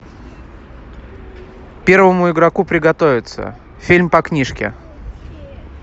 первому игроку приготовиться фильм по книжке